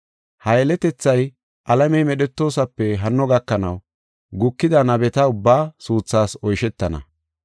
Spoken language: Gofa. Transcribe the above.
Ha yeletethay alamey medhetoosape hanno gakanaw gukida nabeta ubbaa suuthas oyshetana.